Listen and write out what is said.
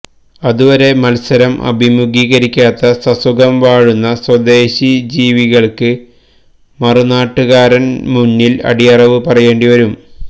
അതുവരെ മത്സരം അഭിമുഖീകരിക്കാതെ സസുഖം വാഴുന്ന സ്വദേശി ജീവികള്ക്ക് മറുനാട്ടുകാരന് മുമ്പില് അടിയറവ് പറയേണ്ടിവരും